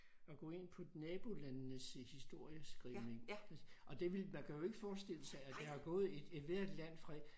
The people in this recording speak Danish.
At gå ind på nabolandenes øh historieskrivning og det ville man kan jo ikke forestille sig at der har gået et ethvert land fra